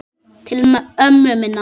Til ömmu minnar.